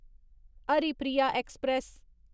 Haripriya express